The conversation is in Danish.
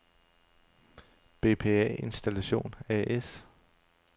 Bpa Installation A/S